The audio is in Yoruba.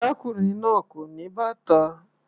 Arákùnrin náà kò ní bàtà.